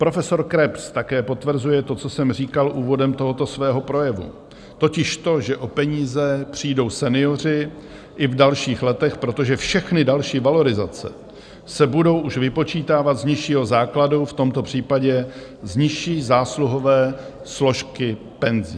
Profesor Krebs také potvrzuje to, co jsem říkal úvodem tohoto svého projevu, totiž to, že o peníze přijdou senioři i v dalších letech, protože všechny další valorizace se budou už vypočítávat z nižšího základu, v tomto případě z nižší zásluhové složky penzí.